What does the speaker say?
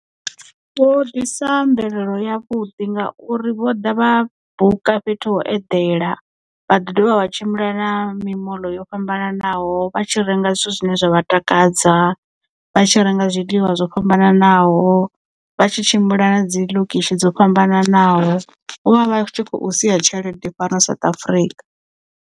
Vho ḓisa mvelelo yavhuḓi ngauri vho ḓa vha buka fhethu ho edela vha ḓi dovha vha tshimbila na mimoḽo yo fhambananaho vha tshi renga zwithu zwine zwavha takadza vha tshi renga zwiḽiwa zwo fhambananaho vha tshi tshimbila na dzi ḽokishi dzo fhambananaho vho vha vha tshi kho sia tshelede fhano South Africa.